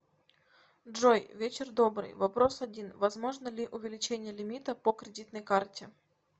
джой вечер добрый вопрос один возможно ли увеличение лимита по кредитной карте